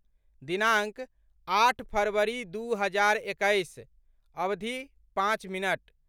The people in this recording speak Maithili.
दिनाङ्क, आठ फरवरी दू हजार एकैस, अवधि, पाँच मिनट